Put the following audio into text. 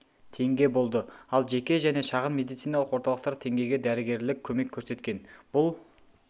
теңге болды ал жеке және шағын медициналық орталықтар теңгеге дәрігерлік көмек көрсеткен бұл